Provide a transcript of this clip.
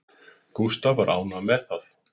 Gústaf var ánægður með það